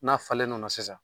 N'a falenn'o la sisan